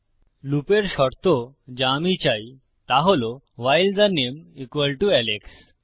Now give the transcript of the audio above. লুপের শর্ত যা আমি চাই তা হল ভাইল থে নামে আলেক্স